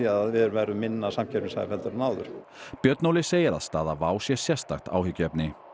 að við verðum minna samkeppnishæf en áður björn Óli segir að staða WOW sé sérstakt áhyggjuefni